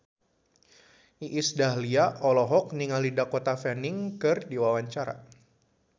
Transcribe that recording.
Iis Dahlia olohok ningali Dakota Fanning keur diwawancara